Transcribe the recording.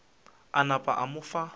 a napa a mo fa